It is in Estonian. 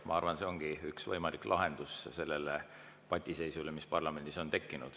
Ma arvan, et see ongi üks võimalikke lahendusi sellele patiseisule, mis parlamendis on tekkinud.